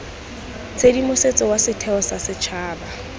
tshedimosetso wa setheo sa setšhaba